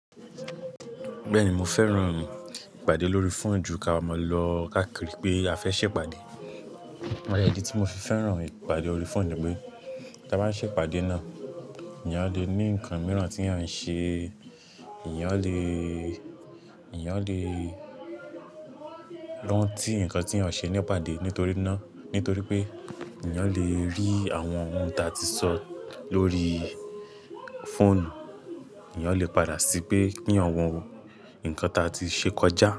Bẹ́ẹ̀ni mo fẹ́ràn ìpàdé lórí fóònù ju ki a máa lọ káàkiri pé a fẹ́ ṣèpàdé. Ọ̀yà idi tí mo fi fẹ́ràn ìpàdé orí fóònù ni pé kí a bá ń ṣe ìpàdé náà, èèyàn lè ní nǹkan mìíràn tí à ń ṣe, èèyàn lè, èèyàn lè rántí nǹkan tí eeyan ṣe ní ìpàdé nítorí náà, nítorí pé èèyàn lè rí àwọn ohun ta tí sọ lórí fóònù, èèyàn lè padà sí pé kí eeyan wọ nǹkan ta tí ṣe kọjá.